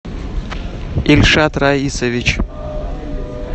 ильшат раисович